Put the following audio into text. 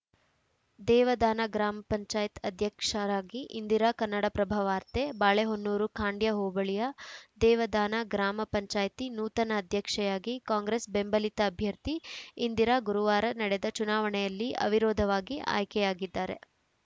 ದೇವದಾನ ಗ್ರಾಮ ಪಂಚಾಯತ್ ಅಧ್ಯಕ್ಷರಾಗಿ ಇಂದಿರಾ ಕನ್ನಡಪ್ರಭ ವಾರ್ತೆ ಬಾಳೆಹೊನ್ನೂರು ಖಾಂಡ್ಯ ಹೋಬಳಿಯ ದೇವದಾನ ಗ್ರಾಮ ಪಂಚಾಯಿತಿ ನೂತನ ಅಧ್ಯಕ್ಷೆಯಾಗಿ ಕಾಂಗ್ರೆಸ್‌ ಬೆಂಬಲಿತ ಅಭ್ಯರ್ಥಿ ಇಂದಿರಾ ಗುರುವಾರ ನಡೆದ ಚುನಾವಣೆಯಲ್ಲಿ ಅವಿರೋಧವಾಗಿ ಆಯ್ಕೆಯಾಗಿದ್ದಾರೆ